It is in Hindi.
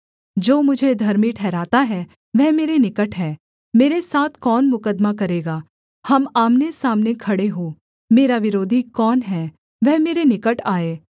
जो मुझे धर्मी ठहराता है वह मेरे निकट है मेरे साथ कौन मुकद्दमा करेगा हम आमनेसामने खड़े हों मेरा विरोधी कौन है वह मेरे निकट आए